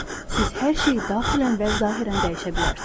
Siz hər şeyi daxilən və zahirən dəyişə bilərsiz.